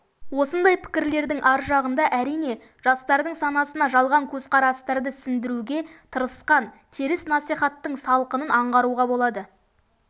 осындай пікірлердің ар жағында әрине жастардың санасына жалған көзқарастарды сіңдіруге тырысқан теріс насихаттың салқынын аңғаруға болады